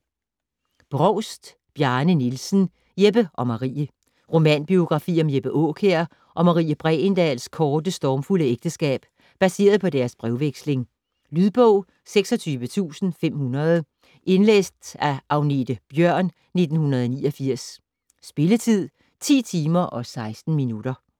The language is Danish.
Brovst, Bjarne Nielsen: Jeppe og Marie Romanbiografi om Jeppe Aakjær og Marie Bregendahls korte, stormfulde ægteskab, baseret på deres brevveksling. Lydbog 26500 Indlæst af Agnethe Bjørn, 1989. Spilletid: 10 timer, 16 minutter.